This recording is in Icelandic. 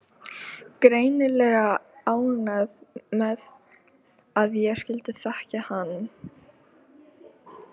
Greinilega ánægð með að ég skyldi þekkja hann.